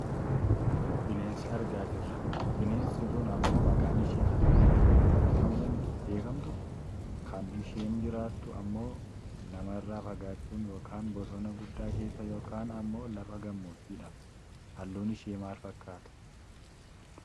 Bineensa argaa jirra. Bineensi kun ammoo maqaan ishee harre diidoo yoo jedhamuun beekkamtu kan isheen jiraattu ammoo namarraa fagaachuun yookaan bosona guddaa keessaa yookaan ammoo lafa gammoojiidha. Halluun ishee maal fakkaata?